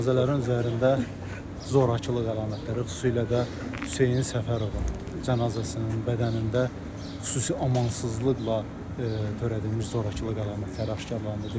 Cənazələrin üzərində zorakılıq əlamətləri, xüsusilə də Hüseyn Səfərovun cənazəsinin bədənində xüsusi amansızlıqla törədilmiş zorakılıq əlamətləri aşkarlandı.